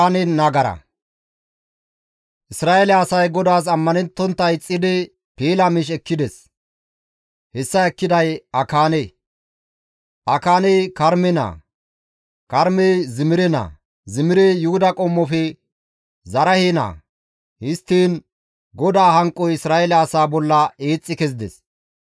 Isra7eele asay GODAAS ammanettontta ixxidi piila miish ekkides; hessa ekkiday Akaane; Akaaney Karme naa; Karmey Zimire naa; Zimirey Yuhuda qommofe Zaraahe naa; histtiin GODAA hanqoy Isra7eele asaa bolla eexxi kezides.